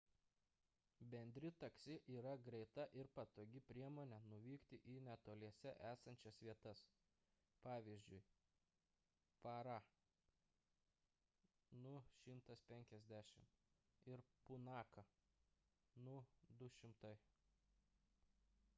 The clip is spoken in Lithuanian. bendri taksi yra greita ir patogi priemonė nuvykti į netoliese esančias vietas pavyzdžiui parą nu 150 ir punaką nu 200